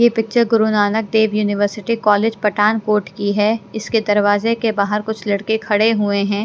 ये picture Guru Nanak Dev university college Pathankot की है इसके दरवाजे के बाहर कुछ लड़के खड़े हुए हैं।